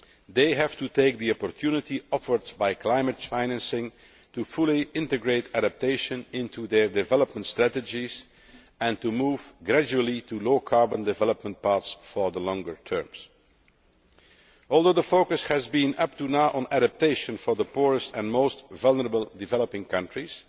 They have to take the opportunity offered by climate financing to fully integrate adaptation into their development strategies and to move gradually to low carbon development paths for the longer term. Although the focus has been, up to now, on adaptation for the poorest and most vulnerable developing countries,